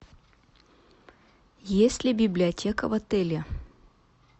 есть ли библиотека в отеле